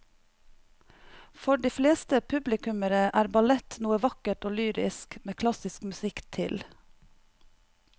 For de fleste publikummere er ballett noe vakkert og lyrisk med klassisk musikk til.